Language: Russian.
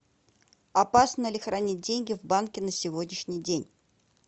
опасно ли хранить деньги в банке на сегодняшний день